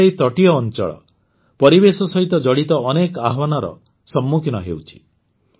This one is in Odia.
ଆମର ଏହି ତଟୀୟ ଅଂଚଳ ପରିବେଶ ସହିତ ଜଡ଼ିତ ଅନେକ ଆହ୍ୱାନର ସମ୍ମୁଖୀନ ହେଉଛି